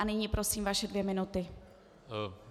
A nyní prosím vaše dvě minuty.